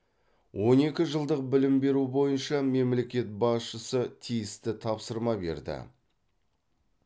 он екі жылдық білім беру бойынша мемлекет басшысы тиісті тапсырма берді